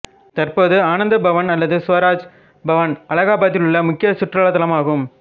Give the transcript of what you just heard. தற்போது ஆனந்த பவன் அல்லது சுவராஜ் பவன் அலகாபாத்திலுள்ள முக்கிய சுற்றுலா தலமாகும்